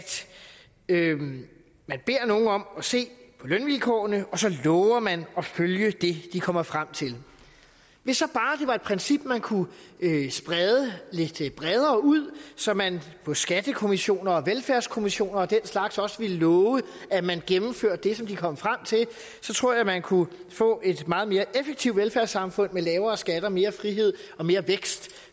man beder nogen om at se på lønvilkårene og så lover man at følge det de kommer frem til hvis så bare det var et princip man kunne sprede lidt bredere ud så man på skattekommissioner og velfærdskommissioner og den slags også ville love at man gennemførte det som de kom frem til så tror jeg at man kunne få et meget mere effektivt velfærdssamfund med lavere skatter mere frihed og mere vækst